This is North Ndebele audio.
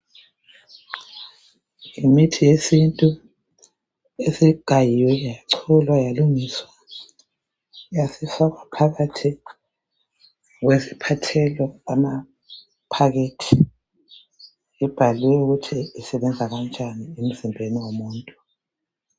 Imithi yesintu esigayiwe, yacholwa, yalungiswa, yasifakwa phakathi kwesiphathelo amaphakethi ibhaliwe ukuthi isebenza kanjani emizimbeni womuntu.